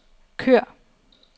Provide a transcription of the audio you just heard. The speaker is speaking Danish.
kør